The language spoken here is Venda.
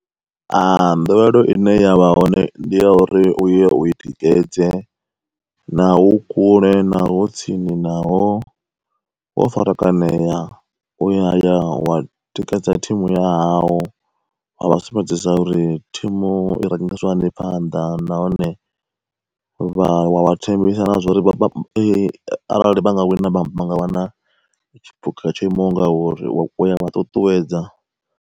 Nḓowelo ine yavha hone ndi ya uri u ya u i tikedze, naho hu kule, naho hu tsini, naho wo farakanea. Uya ya wa tikedza thimu ya hau, wa vha sumbedzisa uri thimu i rangisiwa hani phanḓa nahone vha wa vha thembisa na zwa uri arali vha nga wina vhanga wana tshiphuga tsho imaho ngauri uya vha ṱuṱuwedza.